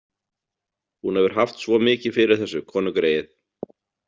Hún hefur haft svo mikið fyrir þessu, konugreyið.